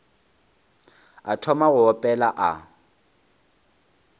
a thoma go opela a